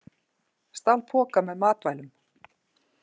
Stal poka með matvælum